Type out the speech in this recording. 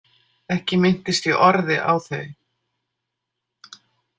Ekki minntist ég orði á þau.